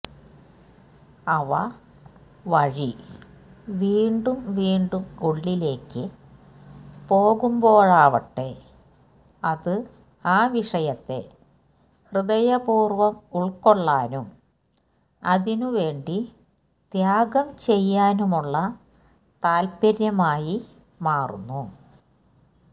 അവ വഴിവീണ്ടും വീണ്ടുംഉള്ളിലേക്ക് പോകുമ്പോഴാവട്ടെ അത് ആ വിഷയത്തെ ഹൃദയപൂര്വം ഉള്ക്കൊള്ളാനും അതിനു വേണ്ടി ത്യാഗം ചെയ്യാനുമുള്ള താല്പര്യമായി മാറുന്നു